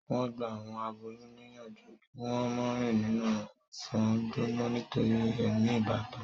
wón gbà àwọn aboyún níyànjú kí wón mo rìn nínú ọsán gbóná nítorí èmi ìbátan.